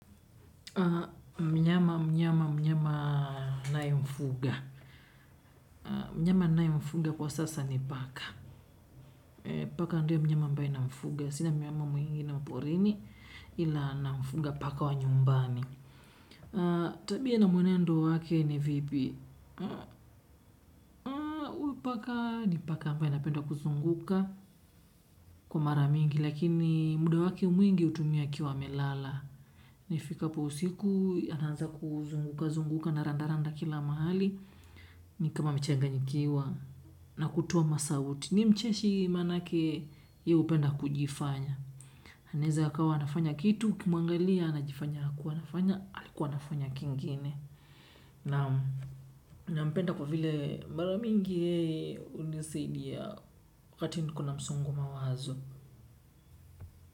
Mnyama mnyama mnyama nayemfuga. Mnyama nayemfuga kwa sasa ni paka. Paka ndiye mnyama ambaye namfuga. Sina mnyama mwengine wa mporini ila namfuga paka wa nyumbani. Tabia na mwenendo wake ni vipi. Paka ni paka ambaye anapenda kuzunguka kwa mara mingi. Lakini muda wake mwingi hutumia akiwa amelala. Na ifikapo usiku anaanza kuzunguka zunguka anaranda randa kila mahali. Ni kama amechanganyikiwa na kutoa masauti. Ni mcheshi maanake ye hupenda kujifanya. Anaeza akawa anafanya kitu, ukimwangalia anajifanya hakuwa anafanya, alikuwa anafanya kingine. Naan nampenda kwa vile mara mingi hunisaidia wakati niko na msongo wa mawazo.